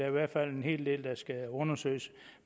i hvert fald en hel del der skal undersøges